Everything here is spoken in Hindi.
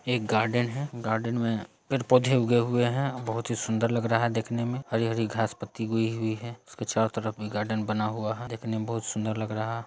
एक गार्डन है गार्डन में पेड़-पौधे उगे हुए हैं बहुत ही सुंदर लग रहा है देखने में हरी-हरी घास पत्ती हुई हुई है उसके चारों तरफ भी गार्डन बना हुआ है देखने में बहोत सुंदर लग रहा --